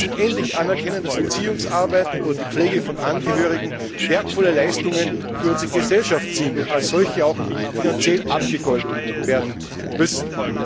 Wir müssen endlich anerkennen, dass Erziehungsarbeit oder die Pflege von Angehörigen wertvolle Leistungen für unsere Gesellschaft sind und als solche auch finanziell abgegolten werden müssen.